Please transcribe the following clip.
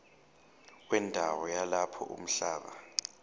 wendawo yalapho umhlaba